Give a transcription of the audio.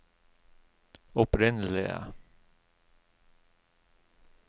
opprinnelige